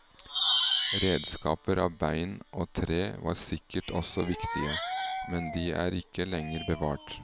Redskaper av bein og tre var sikkert også viktige, men de er ikke lenger bevart.